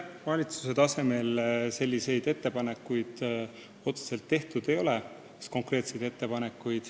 Valitsuse tasemel konkreetseid ettepanekuid tehtud ei ole.